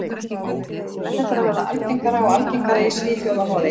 Þetta er að verða algengara og algengara í Svíþjóð og Noregi.